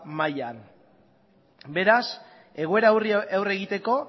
mailan isiltasuna mesedez beraz egoera horri aurre egiteko